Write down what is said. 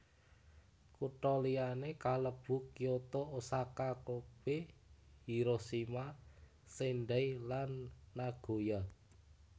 Kutha liyané kalebu Kyoto Osaka Kobe Hiroshima Sendai lan Nagoya